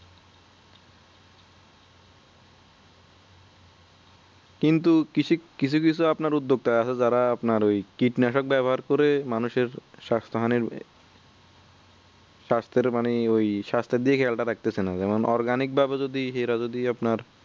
কিন্তু কৃষি কিছু কিছু আপনার উদ্যোগ তা আছে যারা আপনার ওই কীটনাশক ব্যবহার করে মানুষ এর স্বাস্থ্য হানির স্বাস্থ্যের দিকে খেয়াল তা রাখতেছে না যেমন organic ভাবে ের যদি আপনার